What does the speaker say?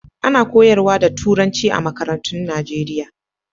Ana koyarwa da Turanci a makarantun Najeriya.